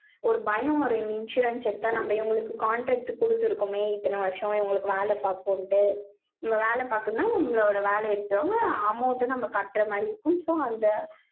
ஒரு பயம், ஒரு insurance எடுத்தா, நம்ம, இவங்களுக்கு, contract குடுத்திருக்கோமே. இத்தனை வருஷம், இத்தனை வருஷம், இவங்களுக்கு வேலை பார்ப்போம்ட்டு. வேலை பார்க்கணும்னா, உங்களோட வேலையை எடுத்தவங்க, amount அ, நம்ம கட்டுற மாதிரி இருக்கும். so அந்த,